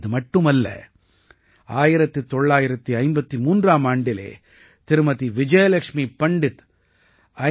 இது மட்டுமல்ல 1953ஆம் ஆண்டிலே திருமதி விஜயலக்ஷ்மி பண்டிட் ஐ